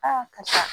karisa